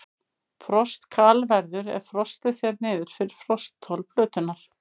Frostkal verður ef frostið fer niður fyrir frostþol plöntunnar.